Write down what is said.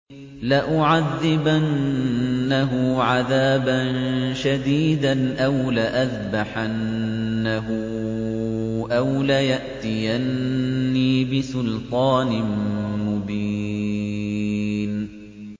لَأُعَذِّبَنَّهُ عَذَابًا شَدِيدًا أَوْ لَأَذْبَحَنَّهُ أَوْ لَيَأْتِيَنِّي بِسُلْطَانٍ مُّبِينٍ